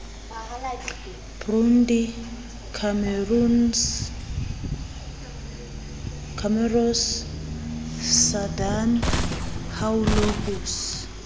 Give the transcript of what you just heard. burundi comoros sudan haolo ho